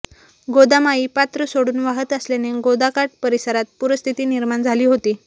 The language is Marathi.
गोदामाई पात्र सोडून वाहत असल्याने गोदाकाठ परिसरात पूरस्थिती निर्माण झाली होती